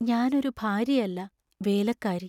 ഞാൻ ഒരു ഭാര്യയല്ല, വേലക്കാരി.